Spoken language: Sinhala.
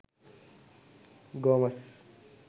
gomes